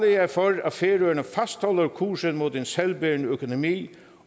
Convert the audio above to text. jeg for at færøerne fastholder kursen mod en selvbærende økonomi